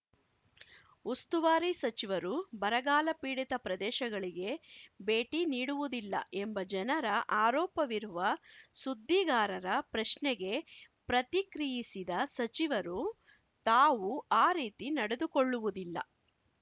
ಉಸ್ತುವಾರಿ ಸಚಿವರು ಬರಗಾಲಪೀಡಿತ ಪ್ರದೇಶಗಳಿಗೆ ಭೇಟಿ ನೀಡುವುದಿಲ್ಲ ಎಂಬ ಜನರ ಆರೋಪವಿರುವ ಸುದ್ದಿಗಾರರ ಪ್ರಶ್ನೆಗೆ ಪ್ರತಿಕ್ರಿಯಿಸಿದ ಸಚಿವರು ತಾವು ಆ ರೀತಿ ನಡೆದುಕೊಳ್ಳುವುದಿಲ್ಲ